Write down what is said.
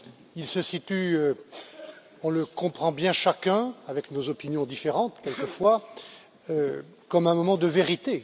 Il se situe, on le comprend bien chacun, avec nos opinions différentes, quelques fois, comme un moment de vérité.